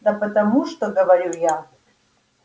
да потому что говоря я